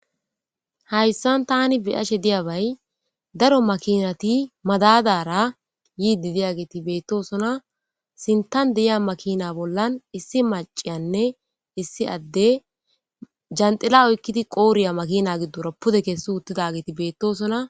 Hayisan tani be'ashe diyaba daro makinati madadara yidi deyageti betosona sinithan de'eya makina bolla issi macay issi adey jaxila oyikidi qodheya qodheya makina gidora pude kesi uta geti betesona